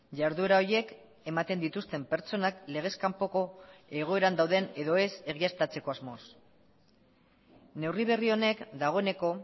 jarduera horiek ematen dituzten pertsonak legez kanpoko egoeran dauden edo ez egiaztatzeko asmoz neurri berri honek dagoeneko